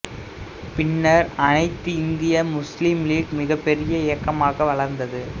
பின்னர் அனைத்திந்திய Muslim League மிகப் பெரிய இயக்கமாக வளர்ந்தது